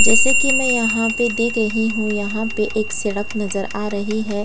जैसे की मे यहाँ पे देख रही हूँ यहाँ पे एक सड़क नज़र आ रही हैं।